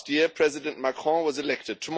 Last year, President Macron was elected.